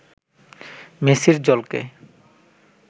মেসির ঝলকে